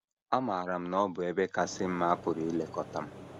Amaara m na ọ bụ ebe kasị mma a pụrụ ilekọta m.